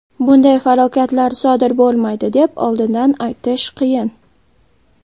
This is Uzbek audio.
Bunday falokatlar sodir bo‘lmaydi deb oldindan aytish qiyin.